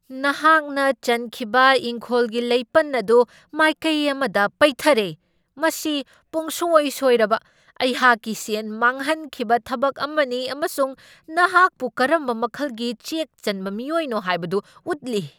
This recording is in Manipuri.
ꯅꯍꯥꯛꯅ ꯆꯟꯈꯤꯕ ꯏꯪꯈꯣꯜꯒꯤ ꯂꯩꯄꯟ ꯑꯗꯨ ꯃꯥꯏꯀꯩ ꯑꯃꯗ ꯄꯩꯊꯔꯦ ꯃꯁꯤ ꯄꯨꯡꯁꯣꯏ ꯁꯣꯏꯔꯕ, ꯑꯩꯍꯥꯛꯀꯤ ꯁꯦꯟ ꯃꯥꯡꯍꯟꯈꯤꯕ ꯊꯕꯛ ꯑꯃꯅꯤ ꯑꯃꯁꯨꯡ ꯅꯍꯥꯛꯄꯨ ꯀꯔꯝꯕ ꯃꯈꯜꯒꯤ ꯆꯦꯛ ꯆꯟꯕ ꯃꯤꯑꯣꯏꯅꯣ ꯍꯥꯏꯕꯗꯨ ꯎꯠꯂꯤ꯫